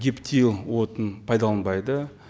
гептил отының пайдаланбайды